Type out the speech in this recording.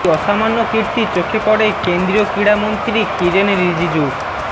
এই অসামান্য কীর্তি চোখে পড়ে কেন্দ্রীয় ক্রীড়ামন্ত্রী কিরেন রিজিজুর